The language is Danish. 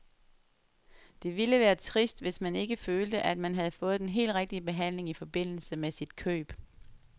Det ville være trist, hvis man ikke følte, at man havde fået den helt rigtige behandling i forbindelse med sit køb.